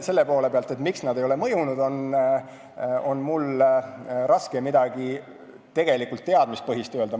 Selle poole pealt, miks nad ei ole mõjunud, on mul raske midagi teadmispõhist öelda.